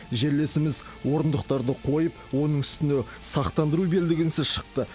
жерлесіміз орындықтарды қойып оның үстіне сақтандыру белдігінсіз шықты